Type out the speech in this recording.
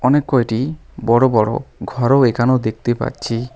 অনেক কয়টি বড় বড় ঘরও এখানে দেখতে পাচ্ছি।